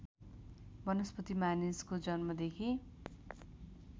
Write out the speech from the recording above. वनस्पति मानिसको जन्मदेखि